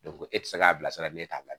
ko e tɛ se k'a bilasira ne t'a la